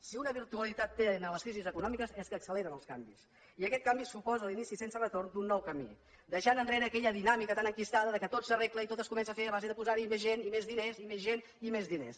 si una virtualitat tenen les crisis econòmiques és que acceleren els canvis i aquest canvi suposa l’inici sense retorn d’un nou camí deixant enrere aquella dinàmica tan enquistada que tot s’arregla i tot es comença a fer a base de posar hi més gent i més diners i més gent i més diners